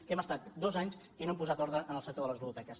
que hem estat dos anys i no hem posat ordre en el sector de les ludoteques